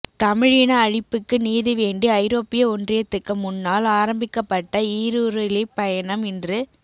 தமிழின அழிப்புக்கு நீதி வேண்டி ஐரோப்பிய ஒன்றியத்துக்கு முன்னால் ஆரம்பிக்கப்பட்ட ஈருருளிப் பயணம் இன்று